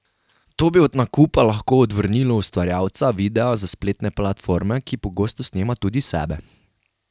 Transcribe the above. To bi od nakupa lahko odvrnilo ustvarjalca videa za spletne platforme, ki pogosto snema tudi sebe.